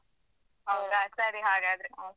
ಹೌದಾ ಸರಿ ಹಾಗಾದ್ರೆ.